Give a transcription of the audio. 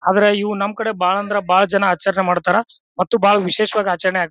ಆದರೆ ಇವು ನಮ್ಮ್ ಕಡೆ ಬಾಳ ಅಂದ್ರೆ ಬಾಳ ಜನ ಆಚರಣೆ ಮಾಡ್ತಾರಾ ಮತ್ತು ಬಾಳ ವಿಶೇಷವಾಗಿ ಆಚರಣೆ ಆಗ್ತದ.